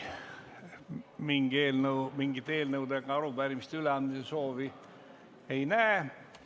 Mingit eelnõude ja arupärimiste üleandmise soovi ei näe.